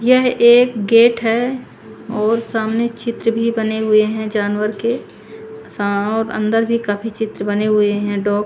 यह एक गेट है और सामने चित्र भी बने हुए है जानवर के है और अंदर भी काफी चित्र बहे हुए है डॉग --